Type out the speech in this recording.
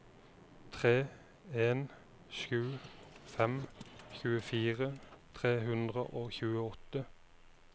tre en sju fem tjuefire tre hundre og tjueåtte